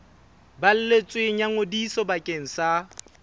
balletsweng ya ngodiso bakeng sa